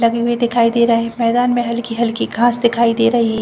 लगी हुई दिखाई दे रही मैदान में हल्कि-हल्कि घास दिखाई दे रही है।